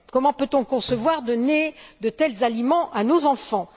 Comment peut on concevoir de donner de tels aliments à nos enfants?